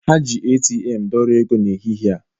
Ha ji ATM dọrọ ego n'ehihie a